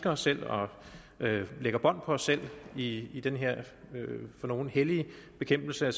os selv og lægger bånd på os selv i i den her for nogle hellige bekæmpelse